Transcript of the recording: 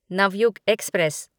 Navyug express